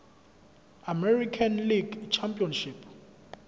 american league championship